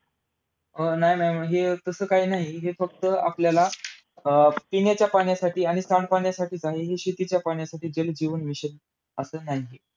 अं नाही, नाही. म्हणजे तस काही नाही. हे फक्त आपल्याला अं पिण्याच्या पाण्यासाठी आणि सांडपाण्यासाठीच आहे. हे शेतीच्या पाण्यासाठी जलजीवन मिशन असं नाहीये.